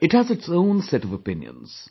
It has its own set of opinions